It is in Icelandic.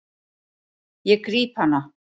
Ég gríp hana.